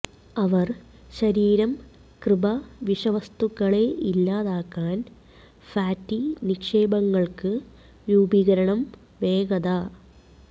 അവർ ശരീരം കൃപ വിഷവസ്തുക്കളെ ഇല്ലാതാക്കാൻ ഫാറ്റി നിക്ഷേപങ്ങൾക്ക് രൂപീകരണം വേഗത